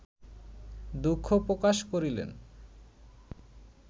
দুঃখ প্রকাশ করিলেন